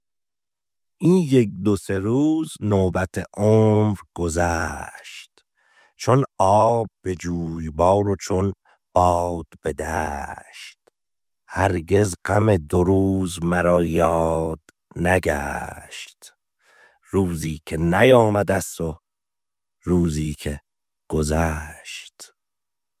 این یک دو سه روز نوبت عمر گذشت چون آب به جویبار و چون باد به دشت هرگز غم دو روز مرا یاد نگشت روزی که نیامده ست و روزی که گذشت